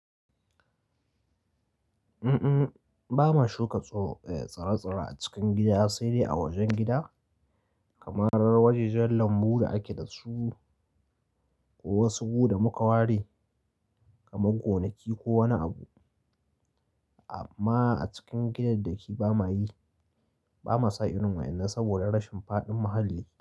Mm-mm, ba ma shuka tsaro, eh, tsare-tsare a cikin gida sai dai a wajen gida kamar wajajen lambu da ake da su ko wasu gudu da muka ware kamar gonaki ko wani abu. Amma a cikin gidan da kike ba ma yi, ba ma sa irin wa'inna saboda rashin faɗin mahalli.